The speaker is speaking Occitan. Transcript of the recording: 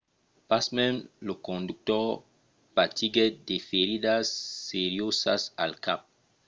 pasmens lo conductor patiguèt de feridas seriosas al cap